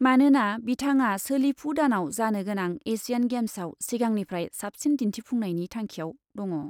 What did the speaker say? मानोना बिथाङा सोलिफु दानाव जानो गोनां एसियान गेम्सआव सिगांनिफ्राय साबसिन दिन्थिफुंनायनि थांखिआव दङ।